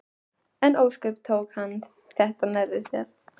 En ósköp tók hann þetta nærri sér.